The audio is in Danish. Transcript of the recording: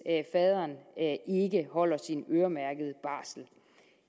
faderen ikke holder sin øremærkede barsel